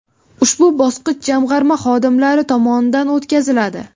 Ushbu bosqich Jamg‘arma xodimlari tomonidan o‘tkaziladi .